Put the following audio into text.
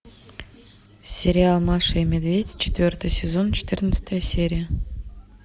сериал маша и медведь четвертый сезон четырнадцатая серия